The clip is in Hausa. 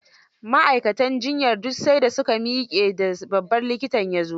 Ma'aikatan juyyar duk sai da su ka miƙe da babban likitan ya zo.